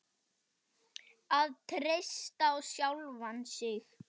Að treysta á sjálfan sig.